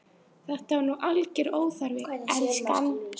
Þetta er nú alger óþarfi, elskan!